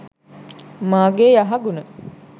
මාගේ යහගුණ